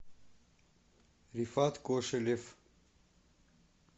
рифат кошелев